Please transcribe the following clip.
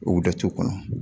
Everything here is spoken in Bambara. U datugu kɔnɔ